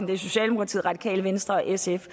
det er socialdemokratiet radikale venstre og sf